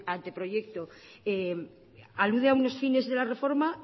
anteproyecto alude a unos fines de la reforma